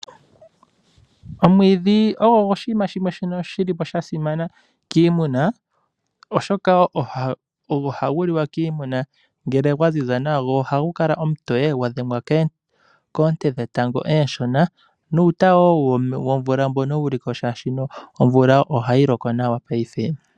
Omwiidhi ogwasimana kiimuna oshoka ogwo hayili ngele gwaziza nawa. Ohagu kala omutoye ngele gwadhengwa koonye dhetango ooshona nuuta womvula wmbonouliko molwaashono omvula ohayi loko nawa.